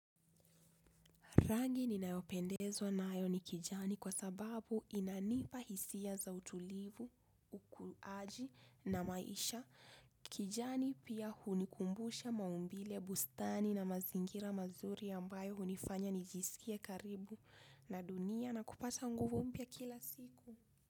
Rangi ni nayopendezwa na ayo ni kijani kwa sababu inanipa hisia za utulivu, ukuaji na maisha. Kijani pia hunikumbusha maumbile, bustani na mazingira mazuri ambayo hunifanya nijisikie karibu na dunia na kupata nguvu mpya kila siku.